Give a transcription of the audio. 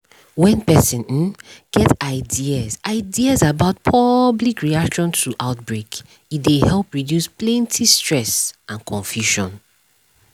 when person um get ideas ideas about public reaction to outbreak e dey help reduce plenty stress and confusion